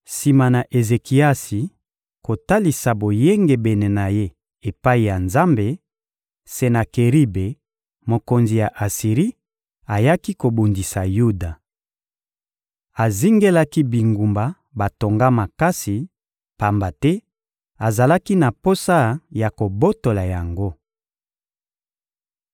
Sima na Ezekiasi kotalisa boyengebene na ye epai ya Nzambe, Senakeribe, mokonzi ya Asiri, ayaki kobundisa Yuda. Azingelaki bingumba batonga makasi, pamba te azalaki na posa ya kobotola yango.